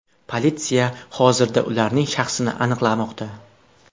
Politsiya hozirda ularning shaxsini aniqlamoqda.